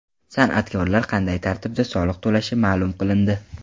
San’atkorlar qanday tartibda soliq to‘lashi ma’lum qilindi.